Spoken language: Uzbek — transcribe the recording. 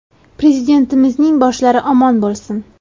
Prezidentimizning boshlari omon bo‘lsin.